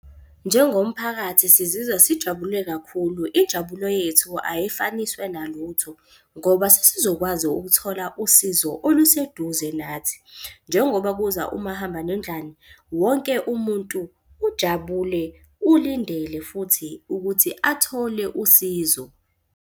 Njengomphakathi, sizizwa sijabule kakhulu. Injabulo yethu ayifaniswa nalutho ngoba sesizokwazi ukuthola usizo oluseduze nathi. Njengoba kuza umahamba nendlwane, wonke umuntu ujabule, ulindele futhi ukuthi athole usizo.